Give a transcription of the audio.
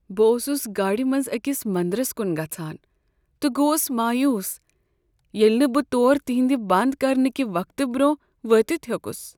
بہٕ اوسس گاڑِ منٛزأکس منٛدرس کن گژھان تہٕ گوس مایوٗس ییٚلہ نہٕ بہٕ تور تہنٛد بنٛد کرنہٕ كہِ وقتہٕ برٛۄنٛہہ وٲتتھ ہیوٚکس۔